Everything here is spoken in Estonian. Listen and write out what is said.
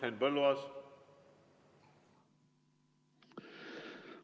Henn Põlluaas, palun!